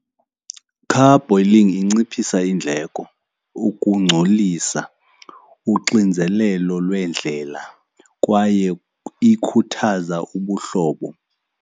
Car boiling inciphisa iindleko, ukungcolisa, uxinzelelo lweendlela kwaye ikhuthaza ubuhlobo.